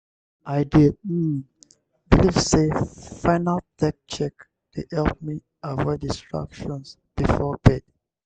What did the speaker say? i dey um believe say final tech check dey help me avoid distractions before bed.